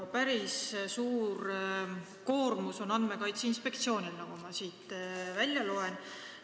Päris suur koormus on siin Andmekaitse Inspektsioonil, nagu ma siit välja loen.